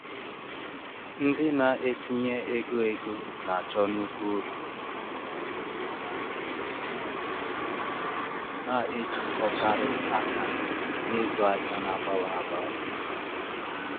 Ahịa stock ala ala um Naịjirịa enwetala agam n'ihu ke um mgbe afọ ise gara aga. um